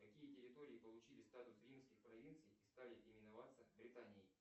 какие территории получили статус римских провинций и стали именоваться британией